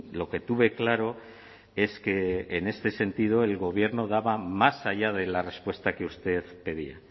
lo que tuve claro es que en este sentido el gobierno daba más allá de la respuesta que usted pedía